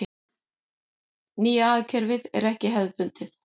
Nýja hagkerfið er ekki hefðbundið.